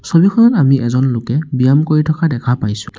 ছবিখনত আমি এজন লোকে ব্যায়াম কৰি থকা দেখা পাইছোঁ।